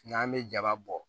N'an bɛ jaba bɔ